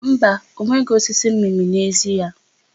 Mba, ọ nweghị osisi mmịmị n'ezi ya.